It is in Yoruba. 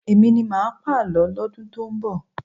Èmi ni máà pàlọ́ lọ́dún tó ń bọ̀.